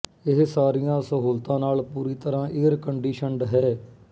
ਇਹ ਸਾਰੀਆਂ ਸਹੂਲਤਾਂ ਨਾਲ ਪੂਰੀ ਤਰ੍ਹਾਂ ਏਅਰਕੰਡੀਸ਼ਨਡ ਹੈ